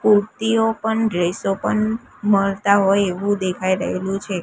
Kurti open ડ્રેસો પન મળતા હોય એવું દેખાઈ રહેલું છે.